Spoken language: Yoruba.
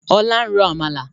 Ọlá ń ro Àmàlà.